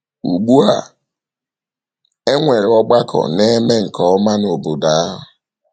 Ugbu a e nwere ọgbakọ na - eme nke ọma n’obodo ahụ.